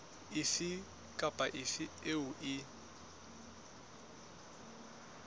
efe kapa efe eo e